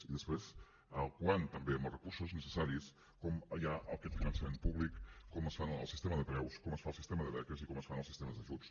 i després el quant també amb els recursos necessaris com hi ha aquest finançament públic com es fa el sistema de preus com es fa el sistema de beques i com es fan els sistemes d’ajuts